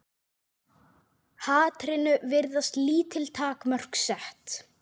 Hatrinu virðast lítil takmörk sett.